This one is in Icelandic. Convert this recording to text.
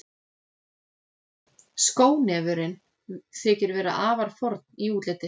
Skónefurinn þykir vera afar forn í útliti.